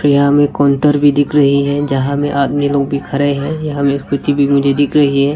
यहाँ हमें काउंटर भी दिख रही है जहां में आदमी लोग भी खड़े हैं यहां में स्कूटी भी मुझे दिख रही है।